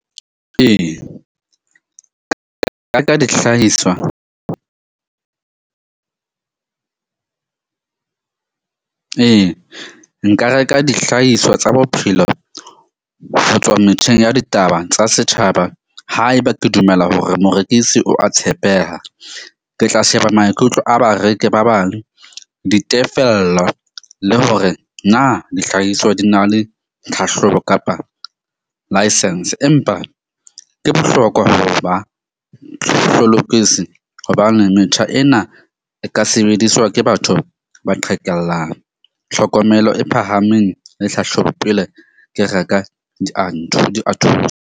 Ee, dihlahiswa ee nka reka dihlahiswa tsa bophelo ho tswa metjheng ya ditaba tsa setjhaba. Haeba ke dumela hore morekisi o a tshepeha, ke tla sheba maikutlo a bareki ba bang, ditefello, le hore na dihlahiso di na le tlhahlobo kapa license. Empa ke bohlokwa ho ba hobane metjha ena e ka sebediswa ke batho ba qhekellang, tlhokomelo e phahameng le hlahlobo pele ke reka .